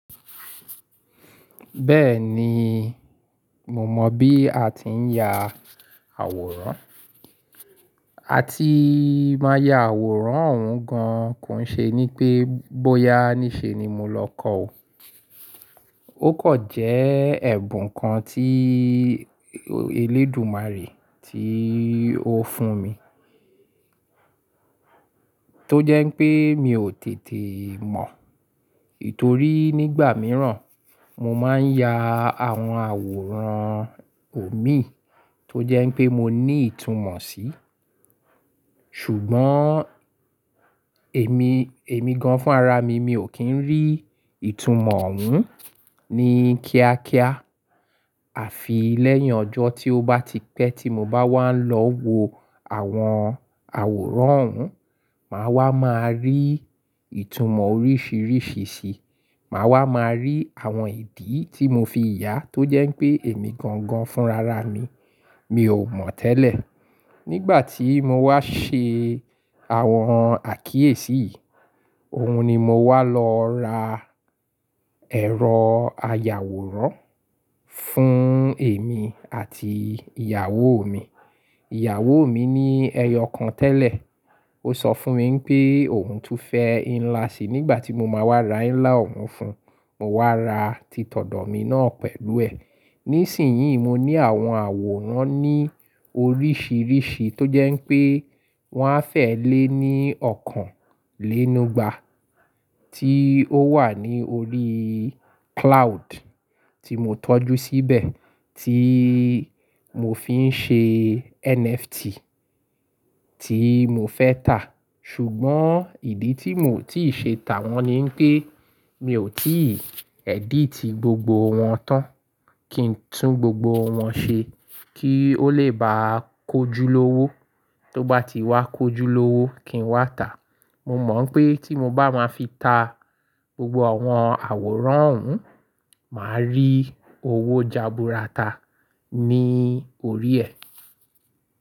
Bẹ́ẹ̀ni, mo mọ̀ bí a ti ń ya àwòrán. A ti máa ya àwòrán òun gan-an kò ṣe ní pé bóyá níṣe ni mo lọ kọ́ o. Ó kò jẹ́ ẹ̀bùn kan tí elédùmarè tí ó fún mi. Tó jẹ́ pé mi ò tètè mọ̀. Nítorí nígbà mìíràn mo máa ń ya àwọn àwòrán omi tó jẹ́ pé mo ní ìtumọ̀ sí. Ṣùgbọ́n èmi gan-an fún ara mi, mi ò kí ń rí ìtumọ̀ òun ní kíákíá. Àfi lẹ́yìn ọjọ́ tí ó bá ti pẹ́ tí mo bá wá ń lọ wo àwọn àwòrán òun, màá wá máa rí ìtumọ̀ oríṣìíríṣìí sí i. Màá wá máa rí àwọn ìdí tí mo fi yà tó jẹ́ pé èmi gan-an fún ra ra mi, mi ò mọ̀ tẹ́lẹ̀. Nígbà tí mo wá ṣe àwọn àkíyèsí yìí, òun ni mo wá lọ ra ẹ̀rọ ayàwòrán fún èmi àti ìyàwó mi. Ìyàwó mi ní ẹyọ kan tẹ́lẹ̀. Ó sọ fún mi pé òun tún fẹ́ ńlá sí i. Nígbà tí mo máa wá ra ńlá òun fún un, mo wá ra titọ̀dọ̀ mi náà pẹ̀lú ẹ̀. Nísìnyí mo ní àwọn àwòrán ní oríṣìíríṣìí tó jẹ́ pé wọ́n á fẹ́ lé ní ọ̀kan lénu ìgbà tí ó wà ní orí cloud tí mo tọ́jú síbẹ̀ tí mo fi ń ṣe NFT tí mo fẹ́ tà. Ṣùgbọ́n ìdí tí mò tí ì ṣe tà wọ́n ni pé mi ò tí ì edit gbogbo wọn tán kí n tún gbogbo wọn ṣe kí ó lè bá kojú lówó. Tó bá ti wá kojú lówó kí n wá tà. Mo mọ̀ pé tí mo bá máa fi ta gbogbo àwọn àwòrán òun, màá rí owó jaburata ní orí ẹ.